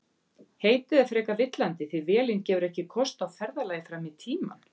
Heitið er frekar villandi því vélin gefur ekki kost á ferðalagi fram í tímann.